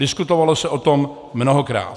Diskutovalo se o tom mnohokrát.